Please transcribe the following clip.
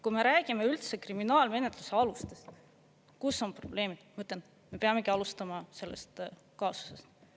Kui me räägime üldse kriminaalmenetluse alustest, kus on probleemid, ma ütlen, me peamegi alustama sellest kasvust.